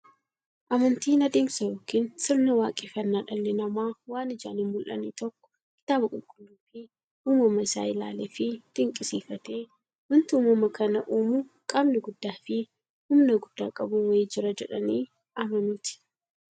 Amantiin adeemsa yookiin sirna waaqeffannaa dhalli namaa waan ijaan hinmullanne tokko kitaaba qulqulluufi uumama isaa isaa ilaaleefi dinqisiifatee, wanti uumama kana uumu qaamni guddaafi humna guddaa qabu wa'ii jira jedhanii amanuuti.